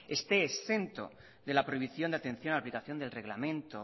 esté exento de la prohibición de atención de la aplicación del reglamento